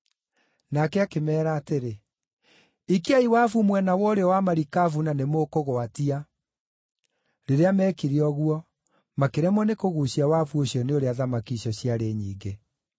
Nake akĩmeera atĩrĩ, “Ikiai wabu mwena wa ũrĩo wa marikabu na nĩmũkũgwatia.” Rĩrĩa meekire ũguo, makĩremwo nĩ kũguucia wabu ũcio nĩ ũrĩa thamaki icio ciarĩ nyingĩ.